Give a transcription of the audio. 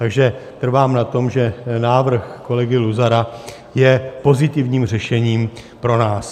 Takže trvám na tom, že návrh kolegy Luzara je pozitivním řešením pro nás.